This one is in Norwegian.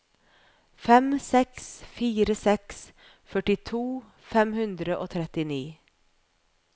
fem seks fire seks førtito fem hundre og trettini